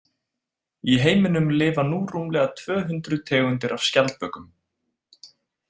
Í heiminum lifa nú rúmlega tvö hundruð tegundir af skjaldbökum.